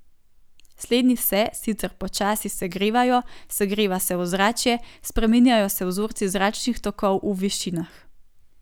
Slednji se, sicer počasi, segrevajo, segreva se ozračje, spreminjajo se vzorci zračnih tokov v višinah.